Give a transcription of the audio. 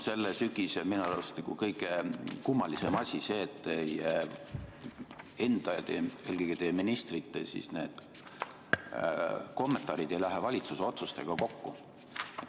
Selle sügise kõige kummalisem asi on minu arust olnud see, et teie enda ja eelkõige teie ministrite kommentaarid ei lähe valitsuse otsustega kokku.